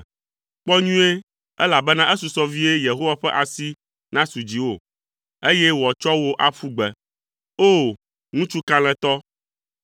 “Kpɔ nyuie, elabena esusɔ vie Yehowa ƒe asi nasu dziwò, eye wòatsɔ wò aƒu gbe. O! Ŋutsu kalẽtɔ.